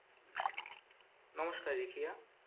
নমস্কার রিকিয়া